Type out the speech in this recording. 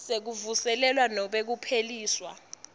sekuvuselelwa nobe kupheliswa